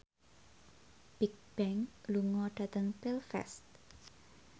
Bigbang lunga dhateng Belfast